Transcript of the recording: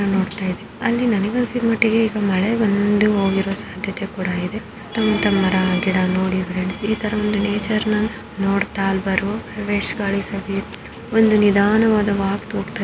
ಅಲ್ಲಿ ನನಗ್ ಅನ್ನಿಸಿದಮಟ್ಟಿಗೆ ಮಳೆ ಬಂದು ಹೋಗಿರೋ ಸಾಧ್ಯತೆ ಕೂಡ ಇದೆ ಸುತ್ತ ಮುತ್ತ ಮರ ಗಿಡ ನೋಡಿ ಫ್ರೆಂಡ್ಸ್ ಈ ಥರ ಒಂದು ನೇಚರ್ ನ ನೋಡ್ತಾ ಫ್ರೆಶ್ ಗಾಳಿ ಸವಿಯೋ ಒಂದು ನಿಧಾನವಾದ ವಾಕ್ ಹೋಗ್ತಾಯಿದ್ರೆ---